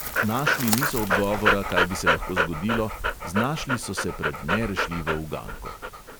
Našli niso odgovora, kaj bi se lahko zgodilo, znašli so se pred nerešljivo uganko.